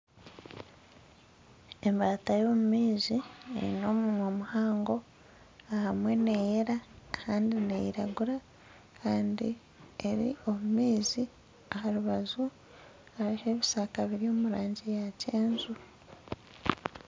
Embaata y'omu maizi eine omunwa muhango. Ahamwe neyera ahandi neiragura, kandi eri omu maizi. Aha rubaju hariho ebishaka biri omu rangi ya kyenju.